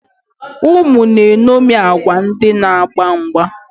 Ụmụ na-eṅomie agwa ndị na-agba mgba.